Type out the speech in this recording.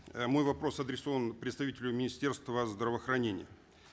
э мой вопрос адресован представителю министерства здравоохранения